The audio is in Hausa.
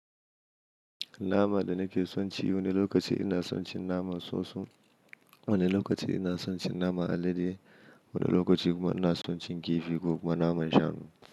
Nama da nake son ci wani lokaci ina son cin naman soson, wani lokaci ina son cin naman alade, wani lokaci kuma ina son cin kifi ko kuma naman shanu.